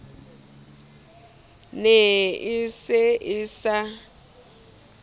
ne e se e sa